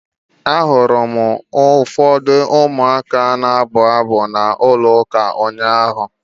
Ahụrụ m ụfọdụ ụmụaka na-abụ abụ na ụlọ ụka ụnyaahụ.